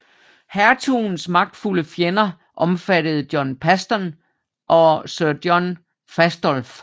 Hertugens magtfulde fjender omfattede John Paston og Sir John Fastolf